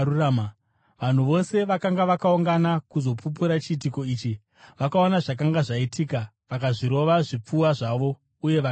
Vanhu vose vakanga vakaungana kuzopupura chiitiko ichi, vakaona zvakanga zvaitika, vakazvirova zvipfuva zvavo uye vakaenda.